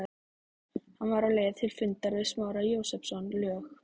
Hann var á leið til fundar við Smára Jósepsson, lög